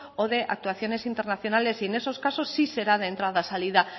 o de actuaciones internacionales y en esos casos sí será de entrada y salida